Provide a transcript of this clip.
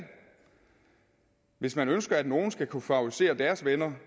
hvis man ønsker at nogle skal kunne favorisere deres venner